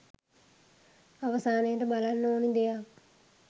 අවසානයට බලන්න ඕනි දෙයක්.